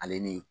Ale ni